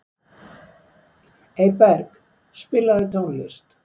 Eyberg, spilaðu tónlist.